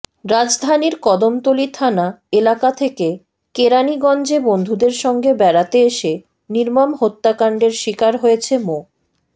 রাজধানীর কদমতলী থানা এলাকা থেকে কেরানীগঞ্জে বন্ধুদের সঙ্গে বেড়াতে এসে নির্মম হত্যাকাণ্ডের শিকার হয়েছে মো